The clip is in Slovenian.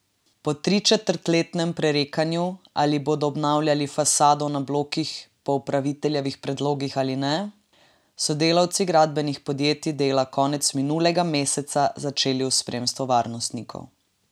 Po tričetrtletnem prerekanju, ali bodo obnavljali fasado na blokih po upraviteljevih predlogih ali ne, so delavci gradbenih podjetij dela konec minulega meseca začeli v spremstvu varnostnikov!